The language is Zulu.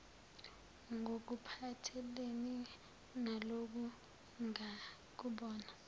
ngokuphathelene naloku ngokubona